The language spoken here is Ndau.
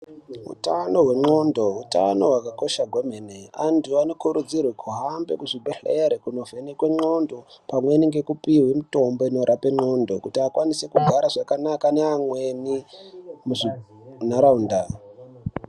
Utano nglondo utano hwakakosha kwemene anu anokuridzirwe kuhambe muzvibhehlera kundovhenekwe nglondo pamweni nekupihwa mutombo inorape nglondo kuti vakwanise kugare zvakanaka neamweni mundaraunda .